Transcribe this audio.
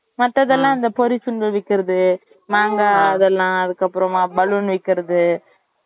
மத்துல்லாம் இந்த பொறி செம்பு விக்கிறது மாங்காய் அது எல்லாம் அதுக்கு அப்புறமா balloon விக்கிறது